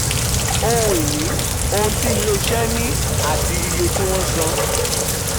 ohun ìní: ohun tí iléeṣẹ́ ní àti iye tí wọ́n um san.